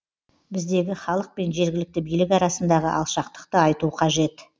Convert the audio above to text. біздегі халық пен жергілікті билік арасындағы алшақтықты айту қажет